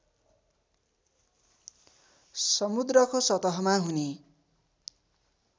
समुद्रको सतहमा हुने